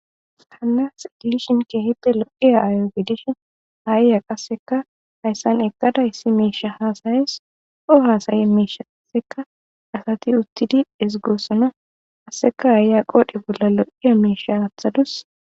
hanas igilishin keehite lo7iaaayo gidishin haya qasseka hayssan ekkada issi meisha haasayes o hasaye meisha asseka asati uttidi izigurosino qasseka haaya qoodhe bolla lo7iya miisha haathadus